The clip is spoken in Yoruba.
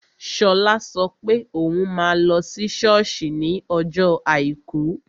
Shola sọ pé òun máa lọ sí sọ́ọ̀sì ní ọjọ́ àìkú